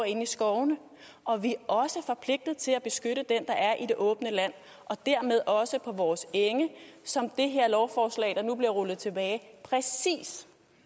inde i skovene og vi er også forpligtet til at beskytte den der er i det åbne land og dermed også på vores enge som det her lovforslag der nu bliver rullet tilbage præcis